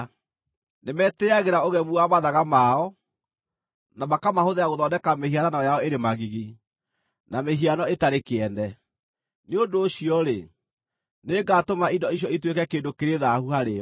Nĩmetĩĩagĩra ũgemu wa mathaga mao, na makamahũthĩra gũthondeka mĩhianano yao ĩrĩ magigi, na mĩhiano ĩtarĩ kĩene. Nĩ ũndũ ũcio-rĩ, nĩngatũma indo icio ituĩke kĩndũ kĩrĩ thaahu harĩo.